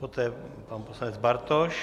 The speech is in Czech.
Poté pan poslanec Bartoš.